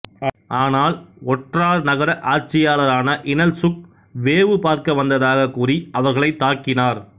ஆனால் ஒற்றார் நகர ஆட்சியாளரான இனல்சுக் வேவு பார்க்க வந்ததாகக் கூறி அவர்களைத் தாக்கினார்